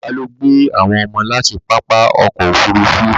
Bàbá lọ gbé àwọn ọmọ láti pápá ọkọ̀ Òfurufú